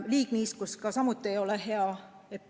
Liigniiskus samuti ei ole hea.